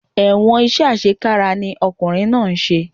Ẹ̀wọ̀n iṣẹ́ àṣekára ni ọkùnrin náà ń ṣe